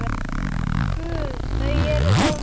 Guð, þau eru of mörg.